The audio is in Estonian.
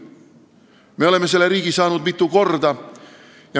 Me oleme selle riigi saanud mitu korda.